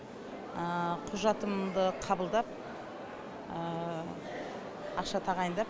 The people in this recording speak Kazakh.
құжатымды қабылдап ақша тағайындап